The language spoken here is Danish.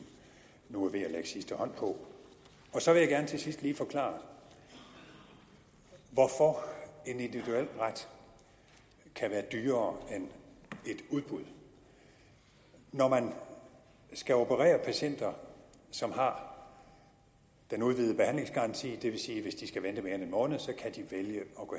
nu er ved at lægge sidste hånd på så vil jeg gerne til sidst lige forklare hvorfor en individuel ret kan være dyrere end et udbud når man skal operere patienter som har den udvidede behandlingsgaranti det vil sige at hvis de skal vente mere end en måned kan de vælge at gå